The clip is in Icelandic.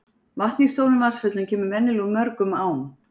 Vatn í stórum vatnsföllum kemur venjulega úr mörgum ám.